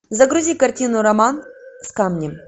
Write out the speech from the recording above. загрузи картину роман с камнем